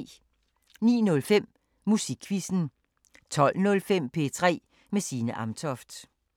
09:05: Musikquizzen 12:05: P3 med Signe Amtoft